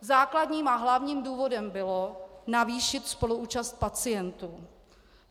Základním a hlavním důvodem bylo navýšit spoluúčast pacientů.